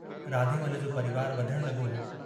राधेमल जो परिवार वधण लगो हो।